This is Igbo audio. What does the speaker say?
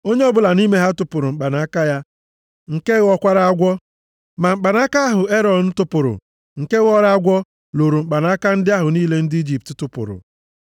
Onye ọbụla nʼime ha tụpụrụ mkpanaka ya, nke ghọkwara agwọ. Ma mkpanaka ahụ Erọn tụpụrụ, nke ghọrọ agwọ, loro mkpanaka ndị ahụ niile ndị Ijipt tụpụrụ.